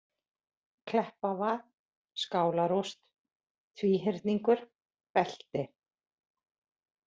Kleppavað, Skálarúst, Tvíhyrningur, Belti